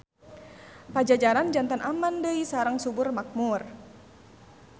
Pajajaran janten aman deui sareng subur makmur.